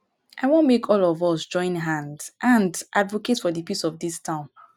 i wan make all of us join hand hand advocate for the peace of dis town